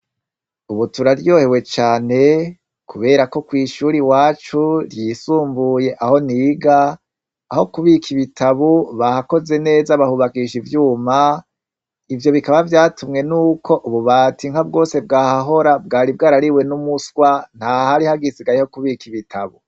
Ubu turaryohewe cane kubera ko kwishure iwacu ryisumbuye aho niga aho kubika ibitabo bahakoze neza bahubakisha ivyuma ivyo bikaba vyatumwe nuko ububati bwose bwahahora bwari bwariwe n'umuswa atahari hasigaye ho kubika ibitabo.